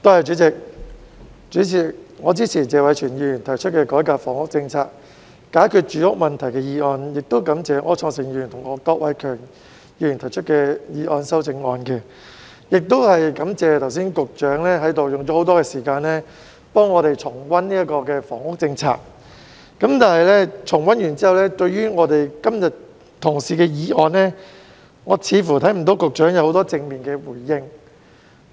主席，我支持謝偉銓議員提出的"改革房屋政策，解決住屋問題"議案，感謝柯創盛議員及郭偉强議員提出修正案，亦感謝局長剛才用了很多時間替我們重溫房屋政策，但重溫完畢後，我似乎看不到局長對今天的議案有很多正面回應。